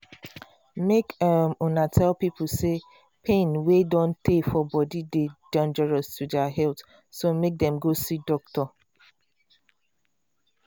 make um una tell pipo say pain wey don try for body dey dangerous to dia health so make them go see doctor